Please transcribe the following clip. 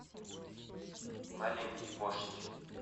маленький вождь